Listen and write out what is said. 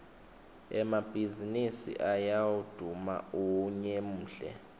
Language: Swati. emabhaizinisi ayawduma unyemuhle